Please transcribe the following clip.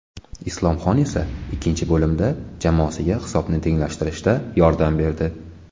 Islomxon esa ikkinchi bo‘limda jamoasiga hisobni tenglashtirishda yordam berdi.